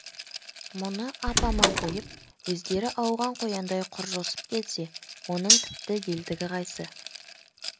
мұны ап-аман қойып өздері ауған қояндай құр жосып кетсе оның тіпті елдігі қайсы